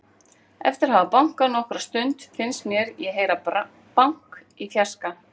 Eftir að hafa bankað nokkra stund fannst mér ég heyra bank í fjarska.